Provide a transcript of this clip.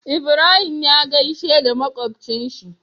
Ibrahim ya gaishe da makocin shi